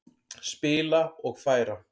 Spila og færa.